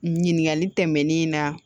Ɲininkali tɛmɛnen na